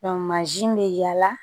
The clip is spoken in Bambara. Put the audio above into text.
mansin bɛ yaala